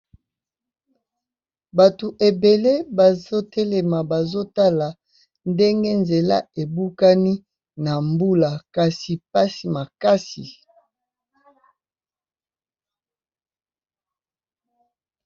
Bato ebele bazotelema , bazotala ndenge nzela ebukani na mbula, kasi pasi makasi